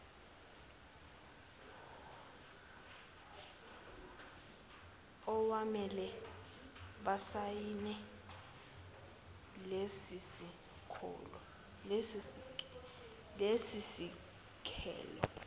awamele basayine lesisekelo